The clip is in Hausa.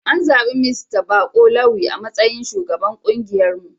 An zabi Mista Bako Lawi a matsayin shugaban kungiyarmu.